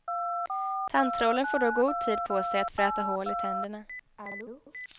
Tandtrollen får då god tid på sig att fräta hål i tänderna.